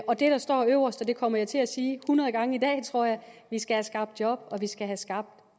og det der står øverst og det kommer jeg til at sige hundrede gange i dag tror jeg er at vi skal have skabt job og vi skal have skabt